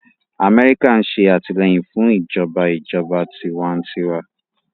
Amẹ́ríkà ń ṣe àtìlẹ́yìn fún ìjọba ìjọba tiwantiwa